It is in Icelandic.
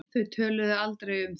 Þau töluðu aldrei um það.